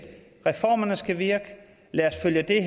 reformerne skal virke lad os følge